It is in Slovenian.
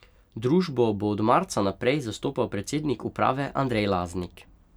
Družbo bo od marca naprej zastopal predsednik uprave Andrej Laznik.